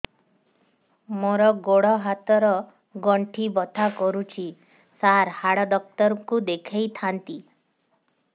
ମୋର ଗୋଡ ହାତ ର ଗଣ୍ଠି ବଥା କରୁଛି ସାର ହାଡ଼ ଡାକ୍ତର ଙ୍କୁ ଦେଖାଇ ଥାନ୍ତି